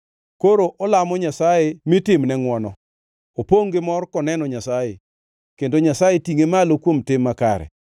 Koro olamo Nyasaye mitimne ngʼwono, opongʼ gi mor koneno Nyasaye, kendo Nyasaye tingʼe malo kuom tim makare.